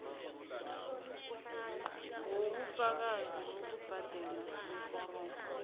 wobufakazi bokubhadela beforomo